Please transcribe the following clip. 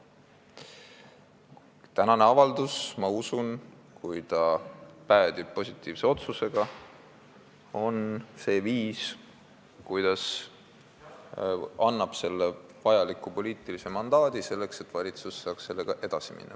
Ma usun, et tänase avalduse menetlus, kui see päädib positiivse otsusega, on see viis, kuidas anda vajalik poliitiline mandaat selleks, et valitsus saaks sellega edasi minna.